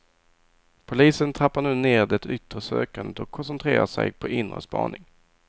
Polisen trappar nu ner det yttre sökandet och koncentrerar sig på inre spaning.